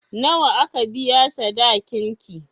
Nawa aka biya sadakin ki?